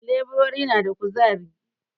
Leburori na da ƙuzari